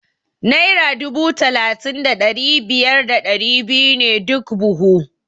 Naira dubu talatin da biyar da ɗari biyu ne duk buhu.